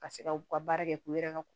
Ka se ka u ka baara kɛ k'u yɛrɛ ka